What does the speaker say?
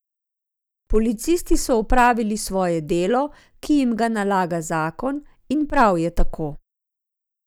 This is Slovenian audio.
Policisti so opravili svoje delo, ki jim ga nalaga zakon, in prav je tako.